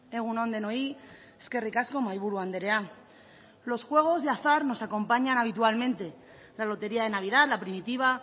egun on denoi eskerrik asko mahaiburu andrea los juegos de azar nos acompañan habitualmente la lotería de navidad la primitiva